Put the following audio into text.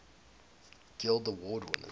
guild award winners